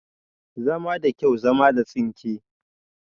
Zama da kyau, zama da tsinke